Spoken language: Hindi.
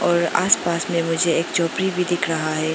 और आसपास में मुझे एक झोपड़ी भी भी दिख रहा है।